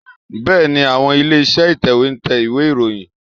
Bẹ́ẹ̀ni, àwọn ilé-iṣẹ́ ìtẹ̀wé ń tẹ ìwé ìròyìn